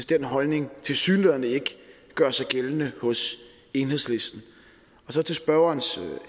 den holdning tilsyneladende ikke gør sig gældende hos enhedslisten til spørgerens